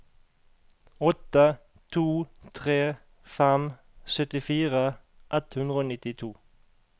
åtte to tre fem syttifire ett hundre og nittito